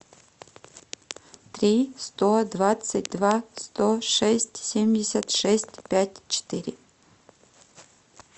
три сто двадцать два сто шесть семьдесят шесть пять четыре